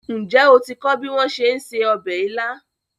Ǹjẹ́ o ti kọ́ bí wón ṣe ń se ọbẹ̀ ilá?